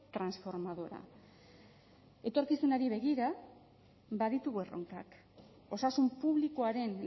transformadora etorkizunari begira baditugu erronkak osasun publikoaren